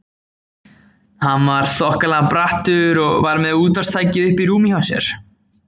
Hann var þokkalega brattur og var með útvarpstækið uppi í rúminu hjá sér.